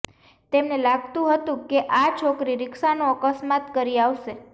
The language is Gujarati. તેમને લાગતું હતું કે આ છોકરી રિક્ષાનો અકસ્માત કરી આવશે